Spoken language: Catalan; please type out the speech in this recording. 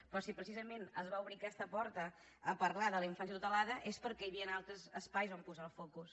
però si precisament es va obrir aquesta porta a parlar de la infància tutelada és perquè hi havia altres espais on posar el focus